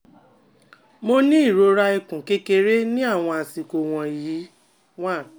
Mo ni irora ikun kekere ni awọn asiko wọnyi one